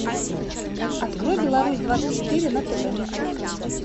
открой беларусь двадцать четыре на тв